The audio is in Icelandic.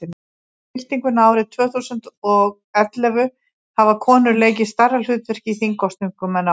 eftir byltinguna árið tvö þúsund og og ellefu hafa konur leikið stærra hlutverk í þingkosningum en áður